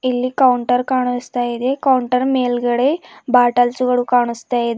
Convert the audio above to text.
ಇಲ್ಲಿ ಕೌಂಟರ್ ಕಾಣಿಸ್ತಾ ಇದೆ ಕೌಂಟರ್ ಮೇಲ್ಗಡೆ ಬಾಟಲ್ಸ್ ಗಳು ಕಾಣಿಸ್ತಾ ಇವೆ.